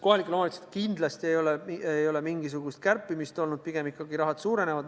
Kohalikel omavalitsustel kindlasti ei ole mingisugust kärpimist olnud, pigem ikkagi rahad suurenevad.